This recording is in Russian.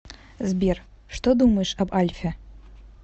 сбер что думаешь об альфе